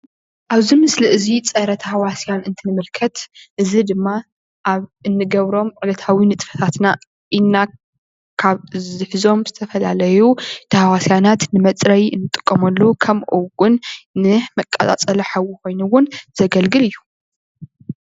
ኣብዚ ምስሊ እዚ ፀረ - ታህዋስያን እንትንምልከት እዚ ድማ ኣብ እንገብሮም ዕለታዊ ንጥፈታትና ኢድና ካብ ዝሕዞም ዝተፈላለዩ ታህዋስያናት ንመፅረይ እንጥቀመሉ ከምኡ እውን ንመቀፃፀሊ ሓዊ ኮይኑ እውን ዘገልግል እዩ፡፡